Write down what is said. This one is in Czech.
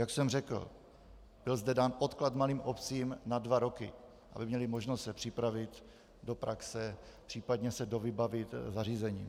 Jak jsem řekl, byl zde dán odklad malým obcím na dva roky, aby měly možnost se připravit do praxe, případně se dovybavit zařízením.